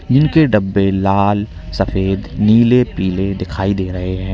इनके डब्बे लाल सफेद नीले पीले दिखाई दे रहे हैं।